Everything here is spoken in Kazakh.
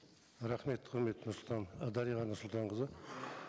рахмет құрметті і дариға нұрсұлтанқызы